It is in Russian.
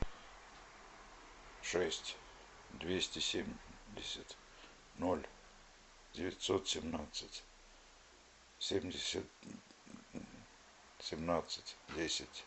шесть двести семьдесят ноль девятьсот семнадцать семьдесят семнадцать десять